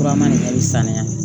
Furaman nin bɛ sanuya